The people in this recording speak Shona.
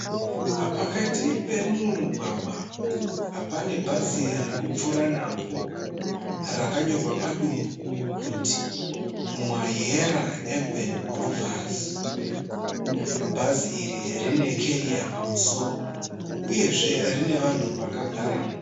Pakati pemumwe mugwagwa. Pane bhazi ririkupfuura napo rakanyorwa padumbu kuti Mwayera urban groovers. Bhazi iri rine carrier pamusoro uyezve rine vanhu vakagaramo.